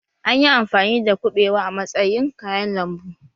An yi amfani da kubewa a matsayin kayan lambu